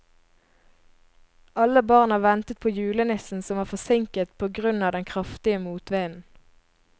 Alle barna ventet på julenissen, som var forsinket på grunn av den kraftige motvinden.